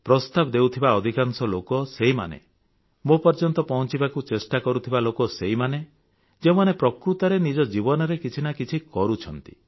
ପ୍ରସ୍ତାବ ଦେଉଥିବା ଅଧିକାଂଶ ଲୋକ ସେହିମାନେ ମୋ ପର୍ଯ୍ୟନ୍ତ ପହଂଚିବାକୁ ପ୍ରଚେଷ୍ଟା କରୁଥିବା ଲୋକ ସେହିମାନେ ଯେଉଁମାନେ ପ୍ରକୃତରେ ନିଜ ଜୀବନରେ କିଛି ନା କିଛି କରୁଛନ୍ତି